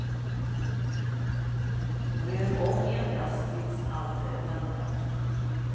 Rör om endast tills allt är blandat.